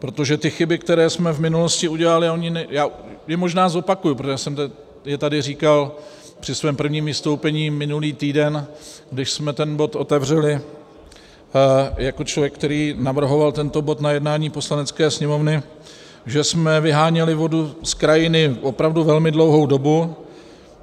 Protože ty chyby, které jsme v minulosti udělali - já je možná zopakuji, protože jsem je tady říkal při svém prvním vystoupení minulý týden, když jsme ten bod otevřeli, jako člověk, který navrhoval tento bod na jednání Poslanecké sněmovny, že jsme vyháněli vodu z krajiny opravdu velmi dlouhou dobu.